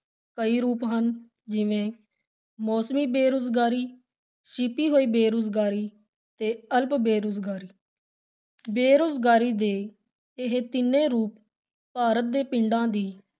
ਕਈ ਰੂਪ ਹਨ, ਜਿਵੇਂ ਮੌਸਮੀ ਬੇਰੁਜ਼ਗਾਰੀ, ਛਿਪੀ ਹੋਈ ਬੇਰੁਜ਼ਗਾਰੀ ਤੇ ਅਲਪ ਬੇਰੁਜ਼ਗਾਰੀ ਬੇਰੁਜ਼ਗਾਰੀ ਦੇ ਇਹ ਤਿੰਨੇ ਰੂਪ ਭਾਰਤ ਦੇ ਪਿੰਡਾਂ ਦੀ